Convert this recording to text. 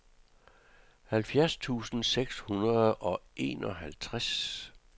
halvfjerds tusind seks hundrede og enoghalvtreds